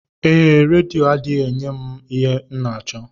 Ee, redio adịghị enye m ihe m n'achọ.